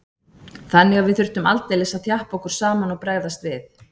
Þannig að við þurftum aldeilis að þjappa okkur saman og bregðast við.